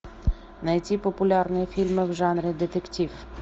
найти популярные фильмы в жанре детектив